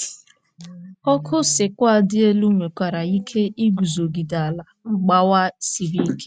Ọkụ sequoia dị elu nwekwara ike iguzogide ala mgbawa siri ike.